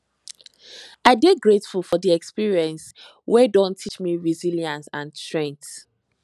i dey grateful for the experiences wey don teach me resilience and strength